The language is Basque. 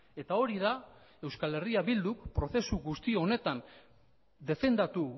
eta hori da euskal herria bilduk prozesu guzti honetan defendatu